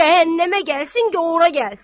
Cəhənnəmə gəlsin, gor ora gəlsin.